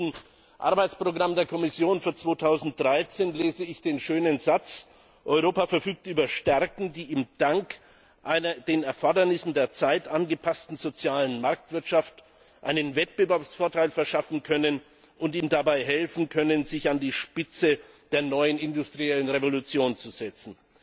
Im letzten Arbeitsprogramm der Kommission für 2013 lese ich den schönen Satz Europa verfügt über Stärken, die ihm dank einer den Erfordernissen der Zeit angepassten sozialen Marktwirtschaft einen Wettbewerbsvorteil verschaffen können und ihm dabei helfen können, sich an die Spitze der neuen industriellen Revolution zu setzen.